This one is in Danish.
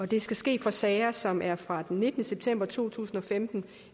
det skal ske for sager som er fra den nittende september to tusind og femten